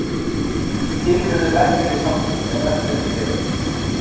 til urðu verkalýðssamtök eða verkalýðsfélög